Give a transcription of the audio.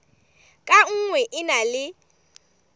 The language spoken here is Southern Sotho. ka nngwe e na le